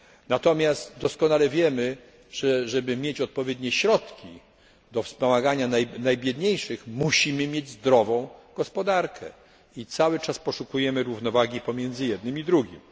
Natomiast doskonale wiemy, że żeby mieć odpowiednie środki do wspomagania najbiedniejszych, musimy mieć zdrową gospodarkę i cały czas poszukiwać równowagi pomiędzy jednym i drugim.